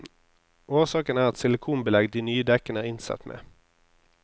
Årsaken er et silikonbelegg de nye dekkene er innsatt med.